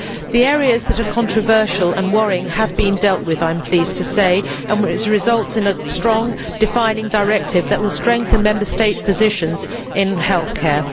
The areas that are controversial and worrying have been dealt with, I am pleased to say, and the result is a strong, defining directive that will strengthen Member State positions in healthcare.